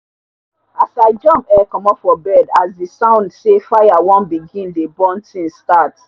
as i jump um comot for bed as the sound say fire wan begin dey burn things start